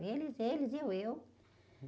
Eles, eles, eu, eu.